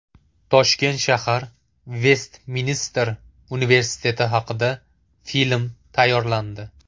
Toshkent shahar Vestminster universiteti haqida film tayyorlandi.